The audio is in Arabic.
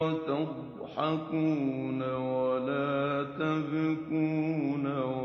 وَتَضْحَكُونَ وَلَا تَبْكُونَ